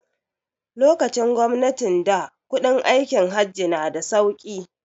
Lokacin gwamnatin da kuɗin aikin Hajj na da sauki